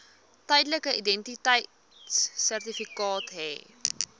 tydelike identiteitsertifikaat hê